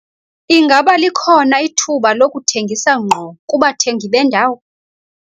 Ingaba likhona ithuba lokuthengisa ngqo kubathengi bendawo?